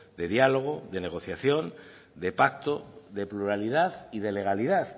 de diálogo de negociación de pacto de pluralidad y de legalidad